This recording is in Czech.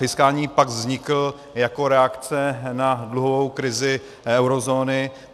Fiskální pakt vznikl jako reakce na dluhovou krizi eurozóny.